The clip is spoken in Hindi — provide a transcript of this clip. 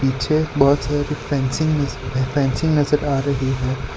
पीछे बहुत सारी फेंसिंग नजर फेंसिंग नजर आ रही है।